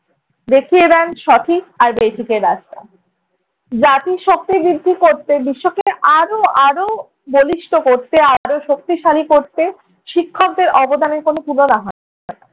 দেখিয়ে দেন সঠিক আর বেঠিকের রাস্তা। জাতির শক্তি বৃদ্ধি করতে, বিশ্বকে আরও আরও বলিষ্ঠ করতে আরও শক্তিশালী করতে শিক্ষকদের অবদানের কোনো তুলনা হয় না ।